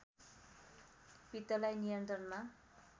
पित्तलाई नियन्त्रणमा